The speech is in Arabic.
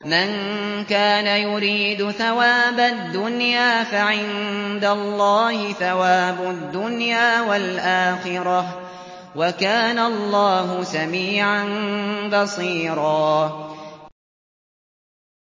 مَّن كَانَ يُرِيدُ ثَوَابَ الدُّنْيَا فَعِندَ اللَّهِ ثَوَابُ الدُّنْيَا وَالْآخِرَةِ ۚ وَكَانَ اللَّهُ سَمِيعًا بَصِيرًا